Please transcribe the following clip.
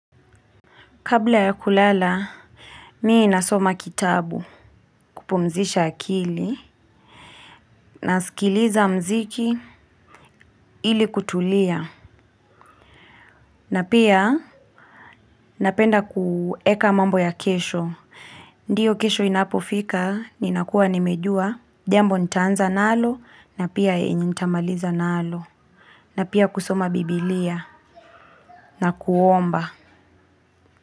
Kabla ya kulala mi nasoma kitabu kupumzisha akili na sikiliza muziki ili kutulia. Na pia napenda kueka mambo ya kesho. Ndiyo kesho inapofika, ninakuwa nimejuwa, jambo ntaanza nalo na pia yenye ntamaliza nalo. Na pia kusoma biblia na kuomba.